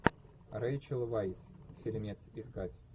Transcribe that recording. рэйчел вайс фильмец искать